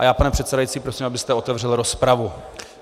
A já, pane předsedající, prosím, abyste otevřel rozpravu.